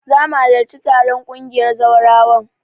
Zamu halarci taron ƙungiyar zawarawan